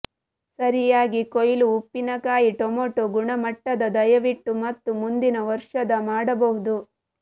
ಸರಿಯಾಗಿ ಕೊಯ್ಲು ಉಪ್ಪಿನಕಾಯಿ ಟೊಮೆಟೊ ಗುಣಮಟ್ಟದ ದಯವಿಟ್ಟು ಮತ್ತು ಮುಂದಿನ ವರ್ಷದ ಮಾಡಬಹುದು